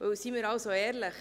Weil seien wir ehrlich: